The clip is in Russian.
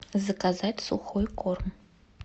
заказать сухой корм